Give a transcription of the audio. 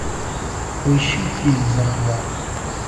поищи фильм захват